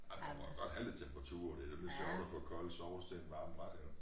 Ej men den må jo godt have lidt temperatur det nemlig sjovt at få kold sovs til en varm ret iggå